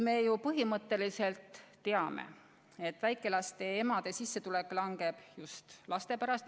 Me ju põhimõtteliselt teame, et väikelaste emade sissetulek langeb just laste pärast.